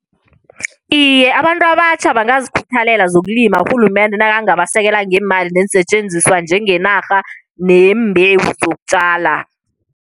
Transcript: Iye, abantu abatjha bangazikhuthalela zokulima urhulumende nakangabasekela ngeemali neensetjenziswa, njengenarha neembewu zokutjala.